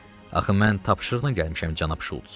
Axı mən tapşırıqla gəlmişəm cənab Şults.